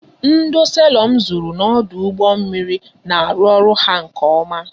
Ndo selọ m zụrụ n'ọdụ ụgbọ mmiri na arụ ọrụ ha nke oma